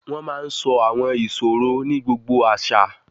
Riddles are told in almost every culture